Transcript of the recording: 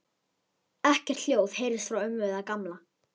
Ekkert hljóð heyrðist frá ömmu eða Gamla.